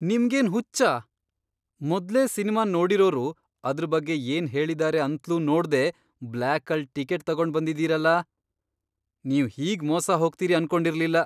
ನಿಮ್ಗೇನ್ ಹುಚ್ಚ? ಮೊದ್ಲೇ ಸಿನ್ಮಾನ್ ನೋಡಿರೋರು ಅದ್ರ್ ಬಗ್ಗೆ ಏನ್ಹೇಳಿದಾರೆ ಅಂತ್ಲೂ ನೋಡ್ದೇ ಬ್ಲ್ಯಾಕಲ್ ಟಿಕೆಟ್ ತಗೊಂಡ್ಬಂದಿದೀರಲ! ನೀವ್ ಹೀಗ್ ಮೋಸ ಹೋಗ್ತೀರಿ ಅನ್ಕೊಂಡಿರ್ಲಿಲ್ಲ.